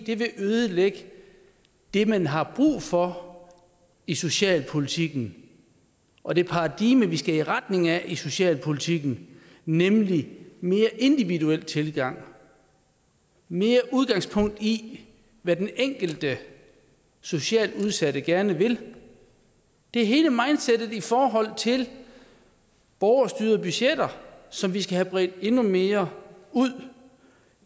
det vil ødelægge det man har brug for i socialpolitikken og det paradigme vi skal i retning af i socialpolitikken nemlig en mere individuel tilgang mere udgangspunkt i hvad den enkelte socialt udsatte gerne vil det er hele mindsettet i forhold til borgerstyrede budgetter som vi skal have bredt endnu mere ud